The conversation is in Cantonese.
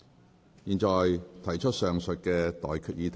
我現在向各位提出上述待決議題。